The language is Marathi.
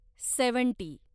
सेव्हन्टी